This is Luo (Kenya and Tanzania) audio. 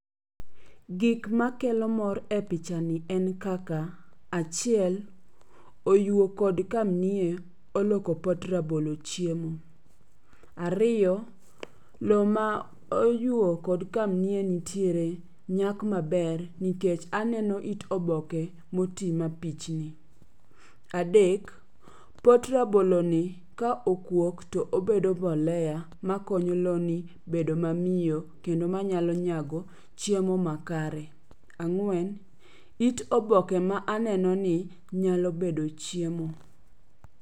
Gik makelo mor e picha ni en kaka, achiel, oyuo kod kamnie oloko pot rabolo chiemo. Ariyo, yo ma oyuo kod kamnie nitiere nyak maber nikech aneno it oboke moti mapichni. Adek, pot rabolo ni ka okuok to obedo mbolea ma konyo loni bedo mamiyo kendo manyalo nyago chiemo ma kare. Ang'wen, it oboke ma aneno ni nyalo bedo chiemo.